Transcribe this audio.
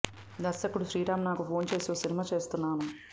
దర్శకుడు శ్రీరామ్ నాకు ఫోన్ చేసి ఓ సినిమా చేస్తున్నాను